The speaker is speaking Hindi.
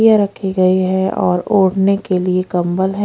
रखी गई हैं और ओढ़ने के लिए कम्बल हैं।